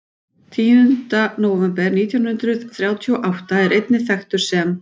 Tíunda nóvember nítján hundruð þrjátíu og átta er einnig þekktur sem?